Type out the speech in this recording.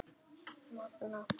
Magnað hvernig golfið getur verið.